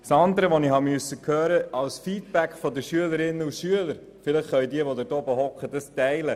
Dann habe ich auch von den Schülerinnen und Schülern Rückmeldungen erhalten.